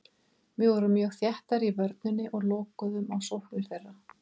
Við vorum mjög þéttar í vörninni og lokuðum á sóknir þeirra.